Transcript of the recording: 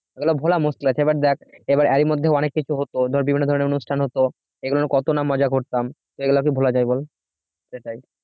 এগুলো ভুলা মুশকিল আছে এবার দেখ এরই মধ্যে অনেক কিছু অধর বিভিন্ন ধরনের অনুষ্ঠান হত এগুলোর কত না মজা করতাম এইগুলা কি ভুলা যায় বল? সেটাই